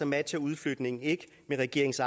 matcher udflytningen ikke regeringens